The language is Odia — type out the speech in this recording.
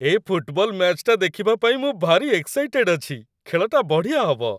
ଏ ଫୁଟବଲ ମ୍ୟାଚ୍‌ଟା ଦେଖିବା ପାଇଁ ମୁଁ ଭାରି ଏକ୍‌ସାଇଟେଡ୍ ଅଛି! ଖେଳଟା ବଢ଼ିଆ ହବ ।